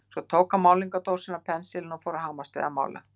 Svo tók hann málningardósina og pensilinn og fór að hamast við að mála.